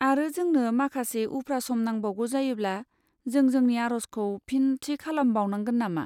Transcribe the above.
आरो जोंनो माखासे उफ्रा सम नांबांगौ जायोब्ला, जों जोंनि आर'जखौ फिन थि खालामबावनांगोन नामा?